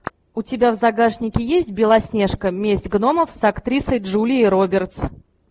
у тебя в загашнике есть белоснежка месть гномов с актрисой джулией робертс